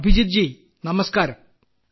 അഭിജിത്ത് ജി നമസ്ക്കാരം